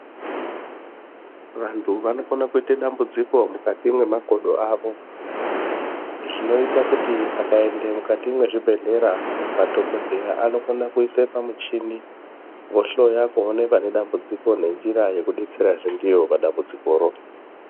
Vanthu vanokona kuita dambudziko mukri mwemakodo avo zvinoite kuti akaenda mukati mezvibhedhlera madhokodheya anokone kuisa pamuchini vohloya kuone pane dambudziko nenjira yekudetserazve ndiyo padambudzikoro.